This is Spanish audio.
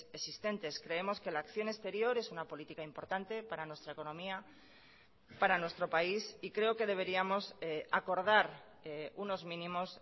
existentes creemos que la acción exterior es una política importante para nuestra economía para nuestro país y creo que deberíamos acordar unos mínimos